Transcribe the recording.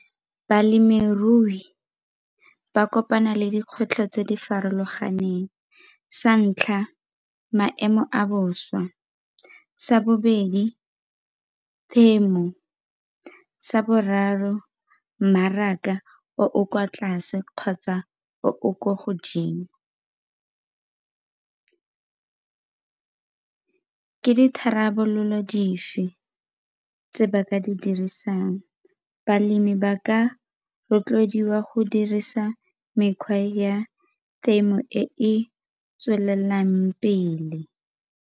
Balemirui ba kopana le dikgwetlho tse di farologaneng, sa ntlha maemo a bosa. Sa bobedi, temo. Sa boraro, mmaraka o o kwa tlase kgotsa o o kwa godimo. Ke ditharabololo fa tse ba ka di dirisang? Balemi ba ka rotloediwa go dirisa mekgwa ya temo e e tswelelang pele.